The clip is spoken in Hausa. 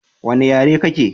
Wanna yare kake?